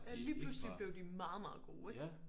Ja lige pludselig blev de meget meget gode ikke?